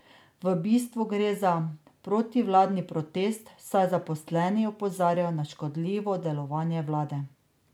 V bistvu gre za protivladni protest, saj zaposleni opozarjajo na škodljivo delovanje vlade.